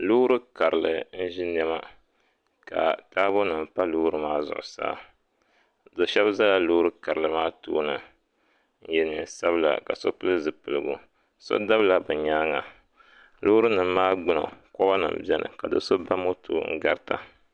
LoorI karili n ʒi niɛma ka taabo nim pa loori maa zuɣusaa do shab ʒɛla loori karili maa tooni n yɛ neen sabila ka so pili zipiligu so dabila bi nyaanga loori nim maa gbuni koba nim biɛni ka do so ba moto garita